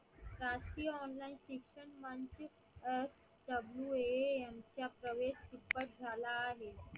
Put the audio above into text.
शासकीय online शिक्षण FWAM प्रवेश झाला आहे.